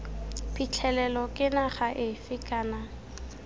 phitlhelelo ke naga efe kana